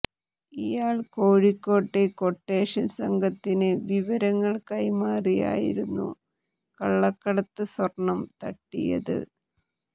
ഇയാൾ കോഴിക്കോട്ടെ ക്വട്ടേഷൻ സംഘത്തിന് വിവരങ്ങൾ കൈമാറിയായിരുന്നു കള്ളക്കടത്ത് സ്വർണം തട്ടിയത്